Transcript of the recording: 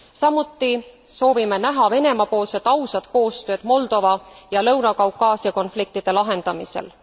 Samuti soovime näha Venemaa poolset ausat koostööd Moldova ja Lõuna Kaukaasia konfliktide lahendamisel.